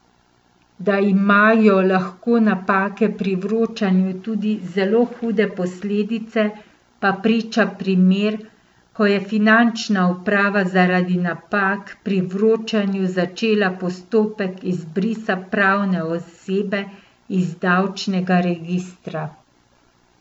Da ima jo lahko napake pri vročanju tudi zelo hude posledice pa priča primer, ko je finančna uprava, zaradi napak pri vročanju začela postopek izbrisa pravne osebe iz davčnega registra.